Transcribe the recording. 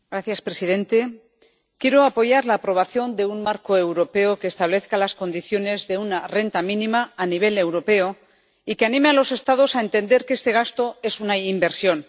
Señor presidente. Quiero apoyar la aprobación de un marco europeo que establezca las condiciones de una renta mínima a nivel europeo y que anime a los Estados a entender que este gasto es una inversión.